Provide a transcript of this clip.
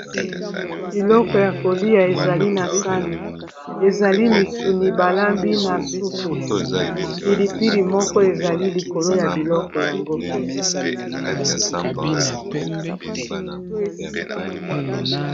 biloko ya kolia ezali na sani ezali misuni balambi na supu pilipili moko ezali likolo ya biloko yango